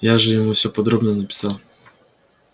я же ему все подробно написал